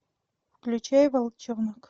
включай волчонок